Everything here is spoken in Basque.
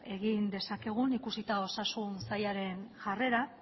egin dezakegun ikusita osasun sailaren jarrera